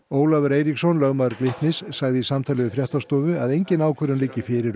Ólafur Eiríksson lögmaður Glitnis sagði í samtali við fréttastofu að engin ákvörðun liggi fyrir